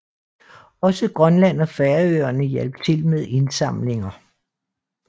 Også Grønland og Færøerne hjalp til med indsamlinger